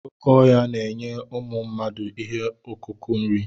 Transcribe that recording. Oké ọhịa na-enye ụmụ mmadụ ihe ọkụkụ nri.